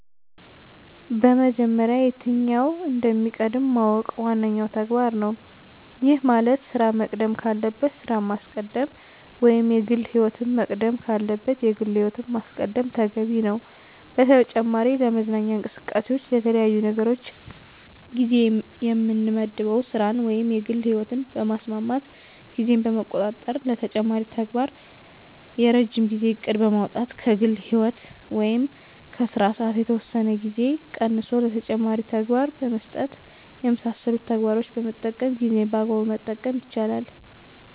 በመጀመሪያ የትኛው እንደሚቀድም ማወቅ ዋነኛው ተግባር ነው። ይህ ማለት ስራ መቅደም ካለበት ስራን ማስቀደም ወይም የግል ህይወት መቅደም ካለበት የግል ህይወትን ማስቀደም ተገቢ ነው። በተጨማሪ ለመዝናኛ እንቅስቃሴዎች ለተለያዩ ነገሮች ጊዜ የምመድበው ስራን ወይም የግል ህይወትን በማስማማት ጊዜን በመቆጣጠር ለተጨማሪ ተግባር የረጅም ጊዜ እቅድ በማውጣት ከግል ህይወት ወይም ከስራ ሰዓት የተወሰነ ጊዜ ቀንሶ ለተጨማሪ ተግባር በመስጠት የመሳሰሉትን ተግባሮችን በመጠቀም ጊዜን በአግባቡ መጠቀም ይቻላል።